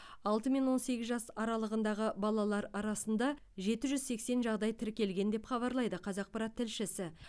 алтымен он сегіз жас аралығындағы балалар арасында жеті жүз сексен жағдай тіркелген деп хабарлайды қазақпарат тілшісі